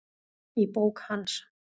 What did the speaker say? Í bók hans